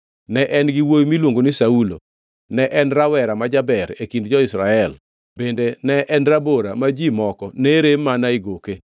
Ne en gi wuowi miluongo ni Saulo, ne en rawera ma jaber e kind jo-Israel bende ne en rabora ma ji moko ne rem mana e goke.